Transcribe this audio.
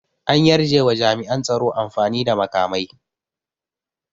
An yarjewa jami'an tsaro amfani da makamai